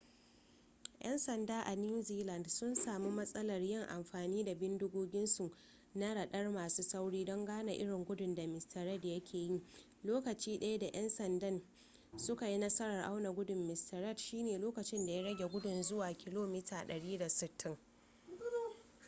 'yan sanda a new zealand sun sami matsalar yin amfani da bindigoginsu na radar masu sauri don gane irin gudun da mr reid ya ke yi lokaci daya da yan sandan suka yi nasarar auna gudun mr reid shine lokacin da ya rage gudu zuwa 160km / h